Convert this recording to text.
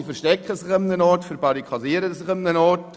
Sie verstecken sich irgendwo und ihnen geschieht nichts.